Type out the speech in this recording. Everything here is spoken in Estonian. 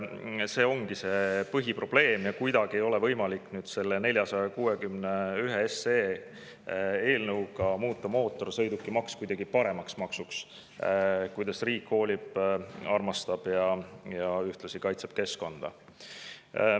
See ongi põhiprobleem ja kuidagi ei ole võimalik selle eelnõuga 461 muuta mootorsõidukimaks kuidagi paremaks maksuks, kuidas riik hoolib, armastab ja ühtlasi kaitseb keskkonda.